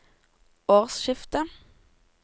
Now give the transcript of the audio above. årsskiftet